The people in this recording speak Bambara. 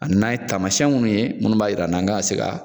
Ani n'an ye taamasiyɛn minnu ye minnu b'a yir'an na an kan ka se ka